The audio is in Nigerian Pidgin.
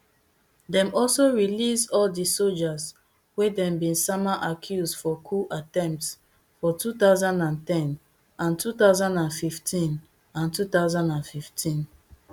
dem also release all di sojas wey dem bin sama accuse for coup attempts for two thousand and ten and two thousand and fifteen and two thousand and fifteen